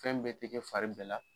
Fɛn bɛɛ tɛ kɛ fari bɛɛ la.